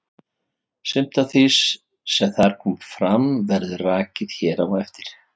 Sumt af því sem þar kom fram verður rakið hér á eftir.